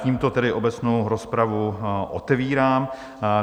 Tímto tedy obecnou rozpravu otevírám.